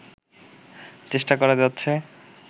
চেষ্টা করে যাচ্ছে